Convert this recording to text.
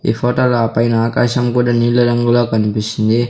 ఈ ఫోటో ల ఆ పైన ఆకాశం కూడా నీళ్ల రంగుల కనిపిస్తుంది.